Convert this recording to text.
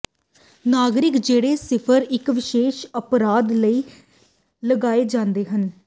ਨਾਗਰਿਕ ਜਿਹੜੇ ਸਿਰਫ ਇੱਕ ਵਿਸ਼ੇਸ਼ ਅਪਰਾਧ ਲਈ ਲਗਾਏ ਜਾਂਦੇ ਹਨ